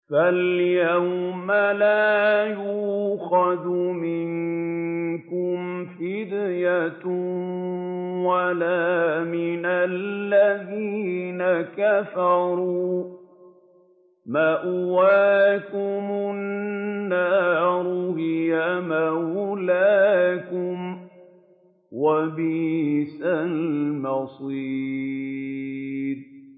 فَالْيَوْمَ لَا يُؤْخَذُ مِنكُمْ فِدْيَةٌ وَلَا مِنَ الَّذِينَ كَفَرُوا ۚ مَأْوَاكُمُ النَّارُ ۖ هِيَ مَوْلَاكُمْ ۖ وَبِئْسَ الْمَصِيرُ